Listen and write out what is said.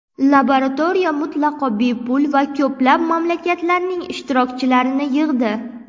Laboratoriya mutlaqo bepul va ko‘plab mamlakatlarning ishtirokchilarini yig‘di.